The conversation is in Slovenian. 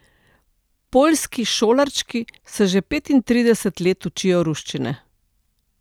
Poljski šolarčki se že petintrideset let učijo ruščine.